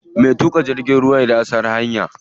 Mai tuƙa jirgin ruwa ya san hanya.